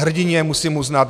Hrdinně, musím uznat.